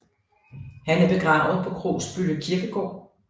Han er begravet på Krogsbølle Kirkegård